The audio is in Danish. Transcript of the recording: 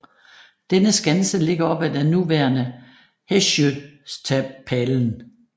Denne skanse ligger op ad den nuværende Håsjöstapeln